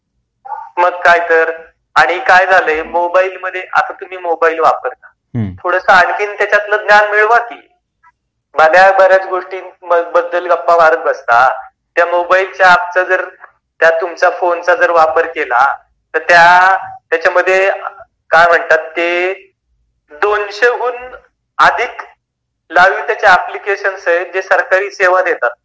मग काय तर. आणि काय झाल मोबाइल मधे आता तुम्ही मोबाईल वापरता थोड़स आणखी त्याच्यातून ज्ञान मिळवा की, आता बऱ्याच गोष्टींबद्दल गप्पा मारत बसता त्यात तुमच्या मोबाईलच्या ऐपचा फ़ोनचा वापर केला तर त्यांच्यामध्ये ते म्हणतात त्याच्या मधे दोनशेहुन अधिक एप्लीकेशन्स आहे. जे सरकारी सेवा देतात